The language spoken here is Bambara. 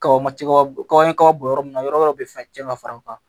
Kaba ma kaba kaba kaba bɔ yɔrɔ min na yɔrɔ wɛrɛw be fɛn cɛn ka fara u kan